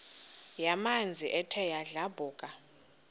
yamanzi ethe yadlabhuka